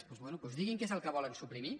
doncs bé doncs diguin què és el que volen suprimir